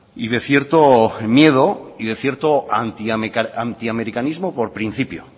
y de cierto miedo y de cierto antiamericanismo por principio